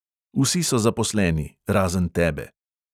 Vsi so zaposleni – razen tebe.